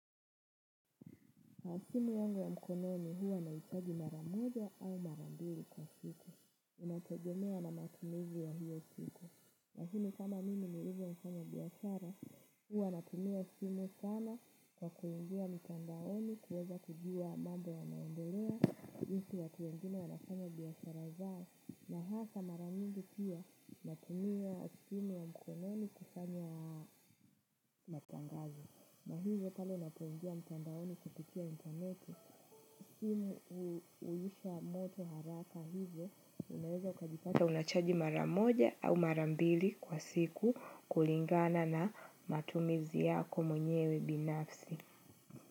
Na simu yangu ya mkononi huwa naichaji mara moja au mara mbili kwa siku. Inategemea na matumizi ya hiyo siku. Na hii ni kama mimi nilivyo mfanyabiashara, huwa natumia simu sana kwa kuingia mitandaoni kuweza kujua mambo yanaendelea. Jinsi watu wengine wanafanya biashara zao na hasa mara mingi pia natumia simu ya mkononi kufanya matangazo. Na hivyo pale ninapoingia mtandaoni kupitia intaneti simu huisha moto haraka hivyo unaweza ukajipata unachaji mara moja au mara mbili kwa siku kulingana na matumizi yako mwenyewe binafsi.